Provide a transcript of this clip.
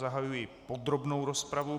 Zahajuji podrobnou rozpravu.